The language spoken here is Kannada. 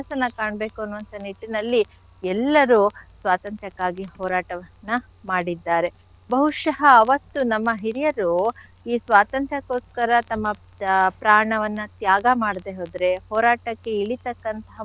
ಕಾಣ್ಬೇಕು ಅನ್ನುವಂಥ ನಿಟ್ಟಿನಲ್ಲಿ ಎಲ್ಲಾರು ಸ್ವಾತಂತ್ರ್ಯಕ್ಕಾಗಿ ಹೋರಾಟವನ್ನ ಮಾಡಿದ್ದಾರೆ. ಬಹುಶಃ ಅವತ್ತು ನಮ್ಮ ಹಿರಿಯರು ಈ ಸ್ವಾತಂತ್ರ್ಯಕ್ಕೋಸ್ಕರ ತಮ್ಮ ಪ್ರಾಣವನ್ನ ತ್ಯಾಗ ಮಾಡ್ದೆ ಹೋದ್ರೆ ಹೋರಾಟಕ್ಕೆ ಇಳಿತಕ್ಕಂಥಹ,